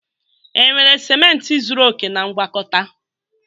Enwere ciment zuru oke na ngwakọta?